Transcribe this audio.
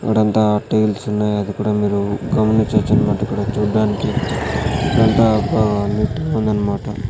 ఆడఅంతా tiles ఉన్నాయి అది కూడా మీరు గమనించచ్చు అనమాట ఇక్కడ చుడానికి ఇక్కడ అంతా నీట్ గా ఉంది అనమాట.